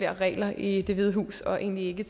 regler i det hvide hus og egentlig ikke